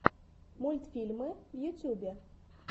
мультфильмы в ютубе